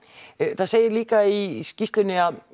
það segir líka í skýrslunni að